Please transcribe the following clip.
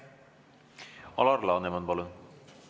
Alar Laneman, palun!